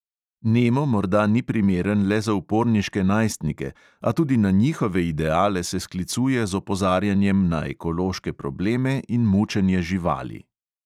Nemo morda ni primeren le za uporniške najstnike, a tudi na njihove ideale se sklicuje z opozarjanjem na ekološke probleme in mučenje živali.